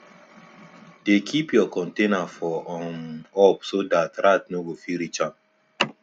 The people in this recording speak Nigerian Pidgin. dey keep your container for um up so dat rat nor go fit reach am